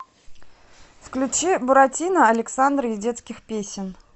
включи буратино александры и детских песен